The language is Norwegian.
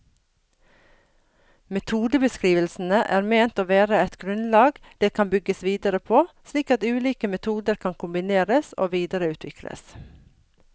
Metodebeskrivelsene er ment å være et grunnlag det kan bygges videre på, slik at ulike metoder kan kombineres og videreutvikles.